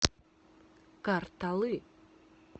карталы